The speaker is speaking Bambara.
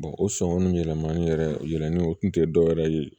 o sɔngɔn yɛlɛmani yɛrɛ yɛlɛli o tun tɛ dɔwɛrɛ ye